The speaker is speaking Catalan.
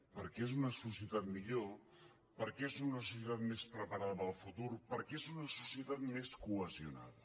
perquè és una societat millor perquè és una societat més preparada per al futur perquè és una societat més cohesionada